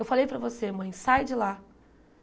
Eu falei para você, mãe, sai de lá.